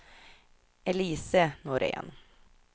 Elise Norén